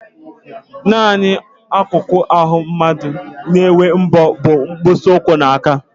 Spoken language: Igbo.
Nanị akụkụ ahụ mmadụ na-enwe mbọ bụ mkpịsị ụkwụ na aka